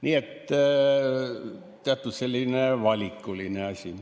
Nii et teatud selline valikuline asi.